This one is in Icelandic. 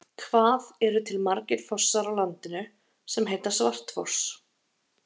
Hvað eru til margir fossar á landinu sem heita Svartfoss?